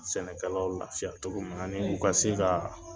Sɛnɛkɛlaw lafiya cogo min u ka se ka